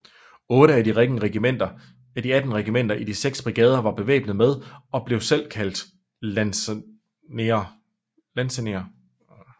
Otte af de atten regimenter i de seks brigader var bevæbnet med og blev kaldt lansenerer